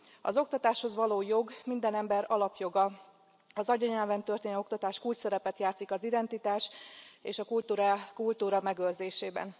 Az oktatáshoz való jog minden ember alapjoga, az anyanyelven történő oktatás kulcsszerepet játszik az identitás és a kultúra megőrzésében.